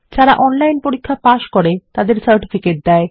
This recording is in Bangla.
যারা অনলাইন পরীক্ষা পাস করে তাদের সার্টিফিকেট দেয়